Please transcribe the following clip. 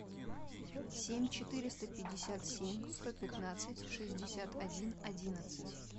семь четыреста пятьдесят семь сто пятнадцать шестьдесят один одиннадцать